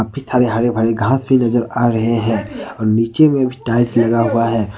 हरे भरे घास नजर आ रहे हैं नीचे में भी टाइल्स लगा हुआ है।